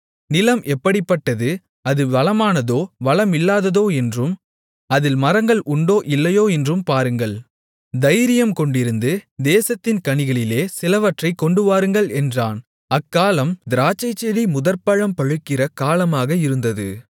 நிலம் எப்படிப்பட்டது அது வளமானதோ வளமில்லாததோ என்றும் அதில் மரங்கள் உண்டோ இல்லையோ என்றும் பாருங்கள் தைரியம்கொண்டிருந்து தேசத்தின் கனிகளிலே சிலவற்றைக் கொண்டுவாருங்கள் என்றான் அக்காலம் திராட்சைச்செடி முதற்பழம் பழுக்கிற காலமாக இருந்தது